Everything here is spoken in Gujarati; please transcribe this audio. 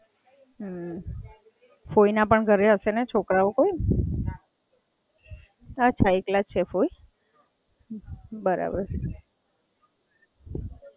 અચ્છા, હાં, સરસ, સરસ ચાલો. ફોઇના પણ ઘરે હશે ને છોકરાઓ કોઈ?